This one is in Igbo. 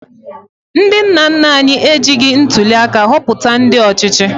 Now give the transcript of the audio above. Ndị nna nna anyị ejighi ntụliaka họpụta ndị ọchịchị